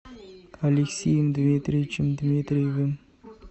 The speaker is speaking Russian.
алексеем дмитриевичем дмитриевым